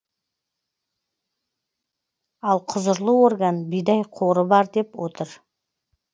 ал құзырлы орган бидай қоры бар деп отыр